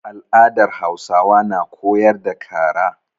Al'adar Hausawa na koyar da kara.